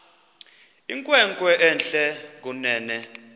inkwenkwe entle kunene